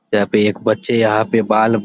यहां पे एक बच्चे यहां पे बाल --